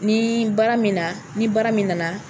Ni baara min na ni baara min nana